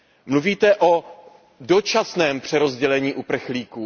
Mluvíte o dočasném přerozdělení uprchlíků.